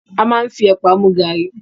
A máa n fí ẹ̀pà mú garri